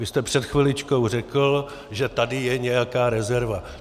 Vy jste před chviličkou řekl, že tady je nějaká rezerva.